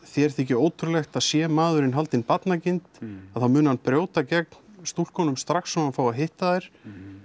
þér þyki ótrúlegt sé maðurinn haldinn barnagirnd þá muni hann brjóta gegn stúlkunum strax og hann fái að hitta þær